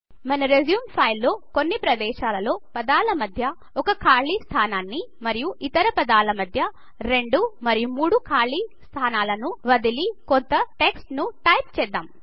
మన resume file లో కొన్ని ప్రదేశాలలో పదాల మధ్య ఒక ఖాలి స్థానాని మరియు ఇతర పదాల మధ్య రెండు మరియు మూడు ఖాలీ స్థానాలను వదిలి కొంత టెక్స్ట్ను టైప్ చేద్దాం